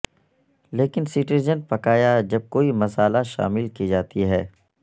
لیکن سٹرجن پکایا جب کوئی مسالا شامل کی جاتی ہے